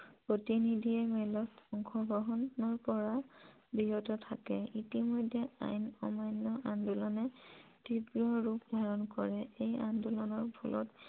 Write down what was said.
প্ৰতিনিধিয়ে মেলত অংশগ্ৰহন কৰাৰ পৰা বিৰত থাকে ইতিমধ্যে আইন অমান্য় আন্দোলনে তীব্ৰ ৰূপ ধাৰণ কৰে এই আন্দোলনৰ ফলত